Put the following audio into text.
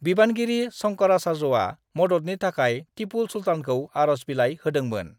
बिबानगिरि शंकराचार्यआ मददनि थाखाय टिपु सुल्तानखौ आरज बिलाइ होदोंमोन।